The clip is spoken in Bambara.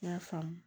N y'a faamu